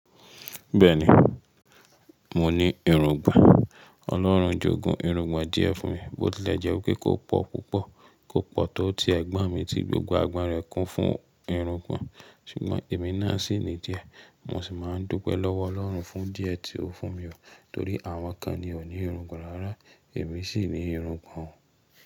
Bẹ́ẹ̀ ni, mo ní irungbọ̀n. Ọlọ́run jogun irungbọ̀n díẹ̀ fún mi, bó tilẹ̀ jẹ́ wípé kò pọ̀ púpọ̀, kò pọ̀ tọ́ tí ẹgbon mi tí gbogbo agbon rẹ̀ kún fún irungbọ̀n, ṣùgbọ́n èmi náà sì ní díẹ̀. Mo sì máa ń dúpẹ́ lọ́wọ́ Ọlọ́run fún díẹ̀ tí ó fún mi, torí àwọn kan ni ò ní irungbọ̀n rárá, èmi sì ní irungbọ̀n.